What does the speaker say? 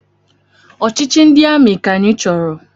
Ọchịchị ndị amị ka anyị chọrọ!